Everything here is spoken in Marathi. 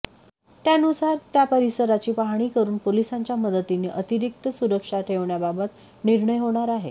त्यानुसार त्या परिसराची पाहणी करून पोलिसांच्या मदतीने अतिरिक्त सुरक्षा ठेवण्याबाबत निर्णय होणार आहे